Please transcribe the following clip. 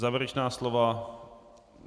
Závěrečná slova?